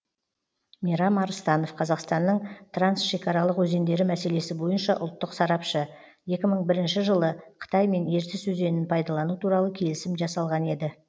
мейрам арыстанов қазақстанның трансшекаралық өзендері мәселесі бойынша ұлттық сарапшы екі мың бірінші жылы қытаймен ертіс өзенін пайдалану туралы келісім жасалған еді